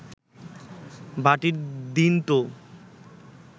ভাটির দিন তো